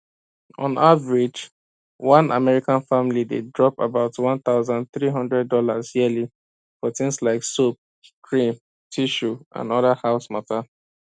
on average one american family dey drop about one thousand three hundred dollars yearly for things like soap cream tissue and other house matter